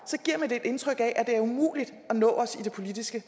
er et indtryk af at det er umuligt at nå os i det politiske